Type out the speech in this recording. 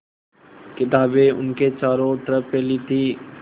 किताबें उसके चारों तरफ़ फैली थीं